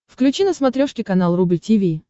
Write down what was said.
включи на смотрешке канал рубль ти ви